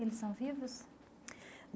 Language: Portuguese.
Eles são vivos?